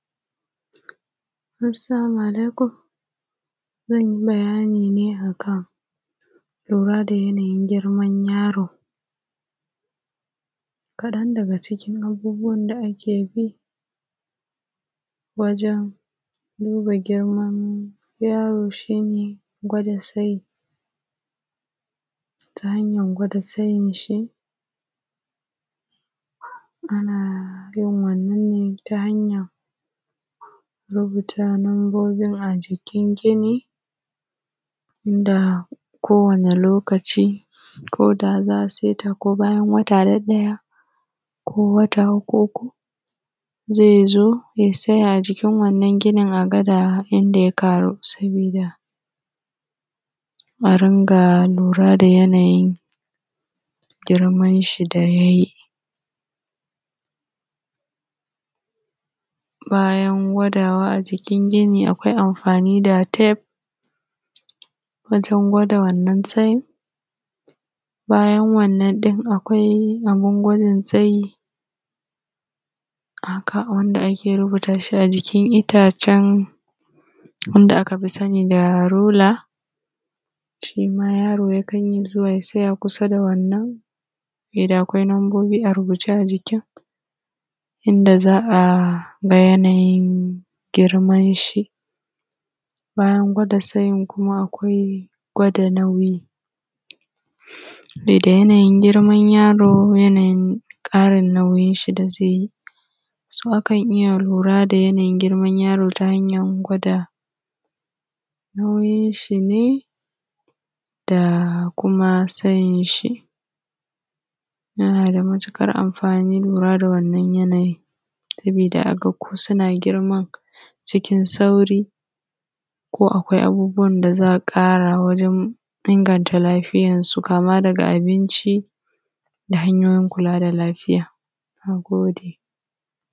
Assalamu alaikum zanyibayani ne akan lurada yanayin girman yaro, kaɗan daga cikin abubuwan da akebi wajen duba girman yaro shine gwada tsayi. Ta hanyan gwada tsayinshi anayin wannan ne ta hanyan rubuta numbobin ajikin gini da ko wani lokaci koda zasuyi tako bayan wata ɗaɗaya ko wata uku uku zaizo ya tsaya ajikin wannan ginin agada yadda ya ƙaru, sabida arinka lura da yanayin girmanshi da yayi. Bayan gwadawa a jikin gini akwai amfani da tef wajen gwada wannan tsayin. Bayan wannan tef akwai bayan wannan tef akwai abun gwada tsayi haka wanda ake rubutashi a jikin ittacen wanda akafi sani da rula, shima yaro yakan iyya zuwa ya tsaya kusa dawannan saboda akwai nambobi ajikin inda za’aga yanayin girmanshi. Bayan gwada tsayin kuma akwai gwada nauyi, sabida yanayin girman yaro yanayin ƙarin girmanshi da zaiyi, so akan iyya lurada yanayin igirman yaro ta hanyan nauyin shine da kuma tsayinshi. Yanada matuƙar amfani lura da wannan yanayin saboda aga ko suna girma cikin sauri, ko akwai abubuwab da za’a ƙara inganta lafiyansu kama daga abinci, da hanyoyin kula da lafiya. Nagode